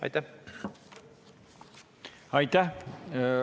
Aitäh!